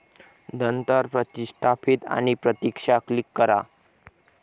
नंतर प्रतिष्ठापीत आणि प्रतीक्षा क्लिक करा.